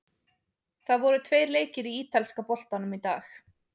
Það voru tveir leikir í ítalska boltanum í dag.